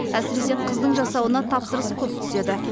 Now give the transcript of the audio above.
әсіресе қыздың жасауына тапсырыс көп түседі